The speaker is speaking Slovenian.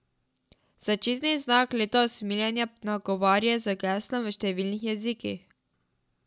Zaščitni znak leta usmiljenja nagovarja z geslom v številnih jezikih.